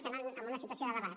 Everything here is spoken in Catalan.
estem en una situació de debat